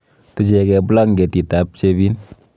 Tuchekee blanketitab chepin.